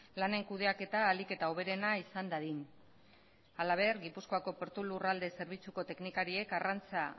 lanen kudeaketa ahalik eta hoberena izan dadin halaber gipuzkoako portu lurralde zerbitzuko teknikariek arrantza